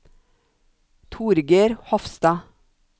Torger Hofstad